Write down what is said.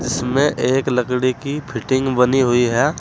इसमें एक लकड़ी की फिटिंग बनी हुई है।